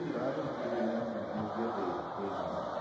E lá eu me reúno com meus guerreiros, treinando né.